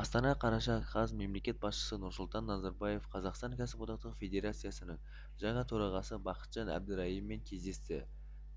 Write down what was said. астана қараша қаз мемлекет басшысы нұрсұлтан назарбаев қазақстан кәсіподақтары федерациясының жаңа төрағасы бақытжан әбдірайыммен кездесті